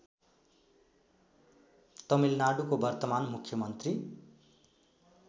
तमिलनाडुको वर्तमान मुख्यमन्त्री